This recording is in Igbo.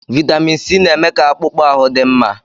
Vaịtamin Sii na-eme ka akpụkpọ ahụ dị mma.